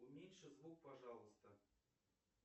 уменьши звук пожалуйста